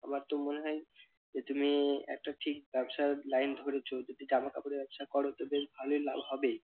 আমার তো মনে হয় যে তুমি একটা ঠিক ব্যবসার line ধরেছো যদি জামা কাপড়ের ব্যবসা করোতো বেশ ভালই লাভ হবে।